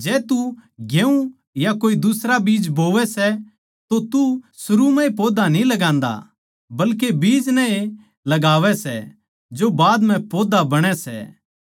जै तू चावल या कोए दुसरा बीज बोवै सै तो तू शुरू म्ह ए पौधा न्ही लगान्दा बल्के बीज नै ए लगावै सै जो बाद म्ह पौधा बणै सै